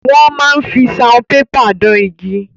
Wọ́n máa fi saunpépà dán igi.